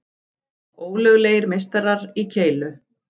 Ólöglegir meistarar í keilu